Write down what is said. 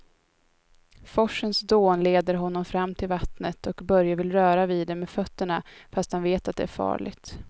Forsens dån leder honom fram till vattnet och Börje vill röra vid det med fötterna, fast han vet att det är farligt.